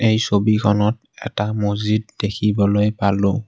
এই ছবিখনত এটা মছজিদ দেখিবলৈ পালোঁ।